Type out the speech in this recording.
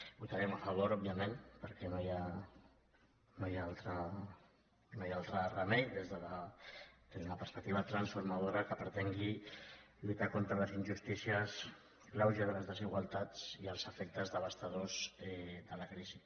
hi votarem a favor òbviament perquè no hi ha altre remei des d’una perspectiva transformadora que pretengui lluitar contra les injustícies l’auge de les desigualtats i els efectes devastadors de la crisi